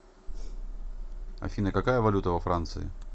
афина какая валюта во франции